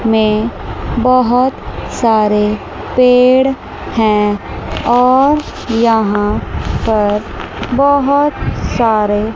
में बहोत सारे पेड़ हैं और यहां पर बहोत सारे--